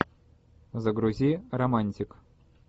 загрузи романтик